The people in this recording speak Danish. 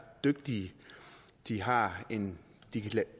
dygtige de har en